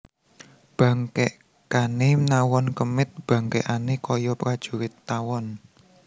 Bangkèkané nawon kemit bangkèkané kaya prajurit tawon